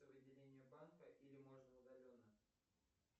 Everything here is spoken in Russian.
в отделении банка или можно удаленно